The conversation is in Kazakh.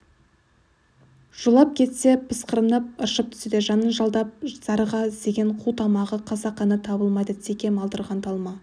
жолап кетсе пысқырынып ыршып түседі жанын жалдап зарыға іздеген қу тамағы қасақана табылмайды секем алдырған талма